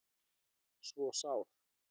svo sár